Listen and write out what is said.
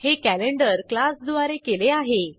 हे कॅलेंडर क्लासद्वारे केले आहे